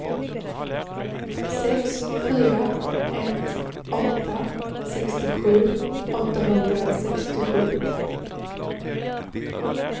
sex fyra ett åtta sextiosju åttahundrasextiosju